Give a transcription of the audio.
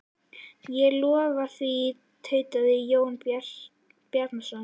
Ég lofa því, tautaði Jón Bjarnason.